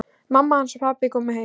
Mamma hans og pabbi komu heim.